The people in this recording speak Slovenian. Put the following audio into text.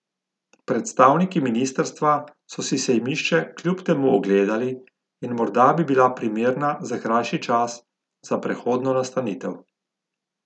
Predstavniki ministrstva so si sejmišče kljub temu ogledali in morda bi bila primerna za krajši čas, za prehodno nastanitev.